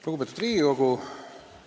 Lugupeetud Riigikogu!